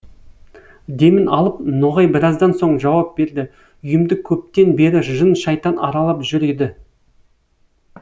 демін алып ноғай біраздан соң жауап берді үйімді көптен бері жын шайтан аралап жүр еді